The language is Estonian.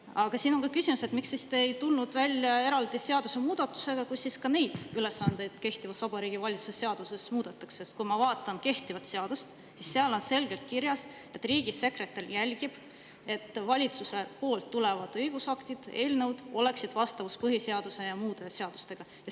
Aga siin on küsimus, et miks te siis ei tulnud välja eraldi seadusemuudatusega, millega ka neid ülesandeid kehtivas Vabariigi Valitsuse seaduses muudetaks, sest kui ma vaatan kehtivat seadust, siis seal on selgelt kirjas, et riigisekretär jälgib, et valitsuse õigusaktide eelnõud oleksid vastavuses põhiseaduse ja muude seadustega.